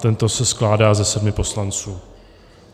Ten se skládá ze sedmi poslanců.